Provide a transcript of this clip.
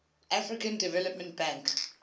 african development bank